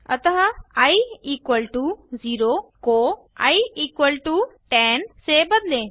अतः i equal to 0 को i equal to 10 से बदलें